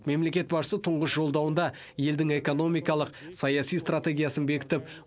мемлекет басшысы тұңғыш жолдауында елдің экономикалық саяси стратегиясын бекітіп